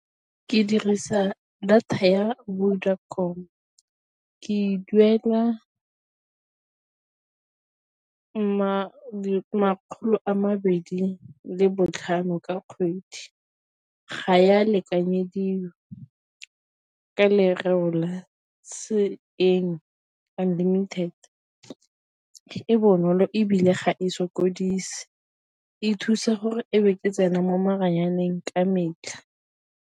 Ke dirisa data ya Vodacom ke e duela makgolo a mabedi le botlhano ka kgwedi, ga ya lekanyediwa ka lereo la se eng unlimited. E bonolo ebile ga e sokodise, e thusa gore e be ke tsena mo maranyaneng ka metlha.